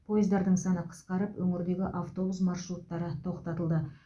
пойыздардың саны қысқарып өңірдегі автобус маршруттары тоқтатылды